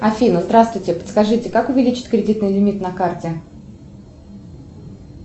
афина здравствуйте подскажите как увеличить кредитный лимит на карте